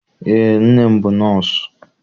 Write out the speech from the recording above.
Eé, nne m bụ nọọsụ.